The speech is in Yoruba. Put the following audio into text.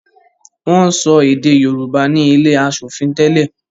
Wọn ń sọ èdè Yorùbá ni ilé asòfin tẹ́lẹ̀